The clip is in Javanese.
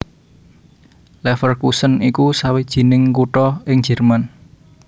Leverkusen iku sawijining kutha ing Jèrman